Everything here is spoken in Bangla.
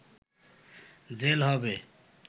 জেল হবে